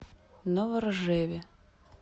новоржеве